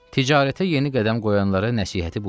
Ticarətə yeni qədəm qoyanlara nəsihəti bu idi.